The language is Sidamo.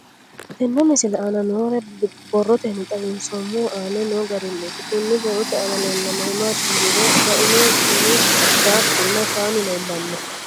Tenne misile aana noore borroteni xawiseemohu aane noo gariniiti. Kunni borrote aana leelanori maati yiniro rainno timi daaxunna shaanu leelanno.